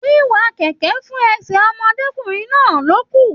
Wíwá kẹkẹ fún ẹsẹ ọmọdékunrin náà lókun.